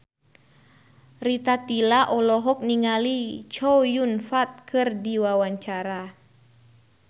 Rita Tila olohok ningali Chow Yun Fat keur diwawancara